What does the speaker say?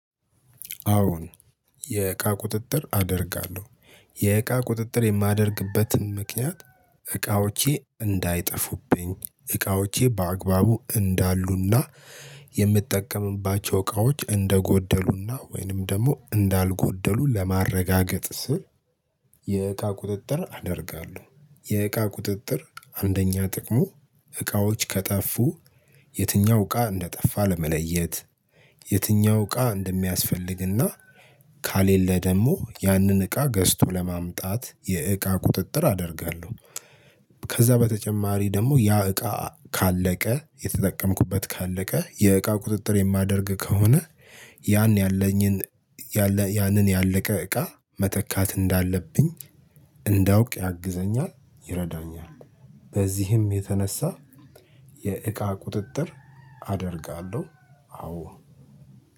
አዎን የእቃ ቁጥጥር አደርጋለሁ። የእቃ ቁጥጥር የማደርግበትን ምክንያት እቃዎቼ እንዳይጠፉብኝ እቃዎቼ በአግባቡ እንዳሉና የምጠቀምባቸው እቃዎች እንደጎደሉና ወይንም ደግሞ እንዳልጎደሉ ለማረጋገጥ ስል የእቃ ቁጥጥር አደርጋለሁ። የእቃ ቁጥጥር አንደኛ ጥቅሙ እቃዎች ከጠፉ የትኛው እቃ እንደጠፋ ለመለየት የትኛው እቃ እንደሚያስፈልግና ከሌለ ደግሞ ያንን እቃ ገዝቶ ለማምጣት የእቃ ቁጥጥር አደርጋለሁ። ከዛ በተጨማሪ ደግሞ ያ እቃ ካለቀ የተጠቀምኩበት ካለቀ የእቃ ቁጥጥር የማደርግ ከሆነ ያን ያለኝን ያንን ያለቀ እቃ መተካት እንዳለብኝ እንዳውቅ ያግዘኛል ይረዳኛል። በዚህም የተነሳ የእቃ ቁጥጥር አደርጋለሁ። አዎ